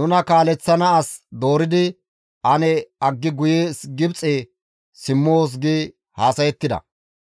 Nuna kaaleththana as dooridi ane aggi guye Gibxe simmoos» gi haasayettida.